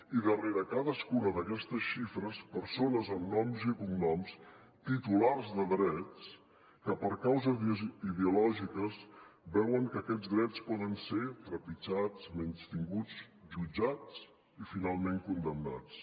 i darrere cadascuna d’aquestes xifres persones amb noms i cognoms titulars de drets que per causes ideològiques veuen que aquests drets poden ser trepitjats menystinguts jutjats i finalment condemnats